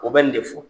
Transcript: O bɛ nin de fɔ